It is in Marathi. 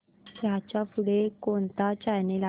ह्याच्या पुढे कोणता चॅनल आहे